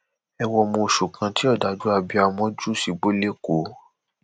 ẹ wo ọmọ oṣù kan tí òdájú abiyamọ jù sígbó lẹkọọ